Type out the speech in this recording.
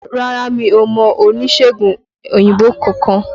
Rárá mi ò mọ oníṣègùn òyìnbó kankan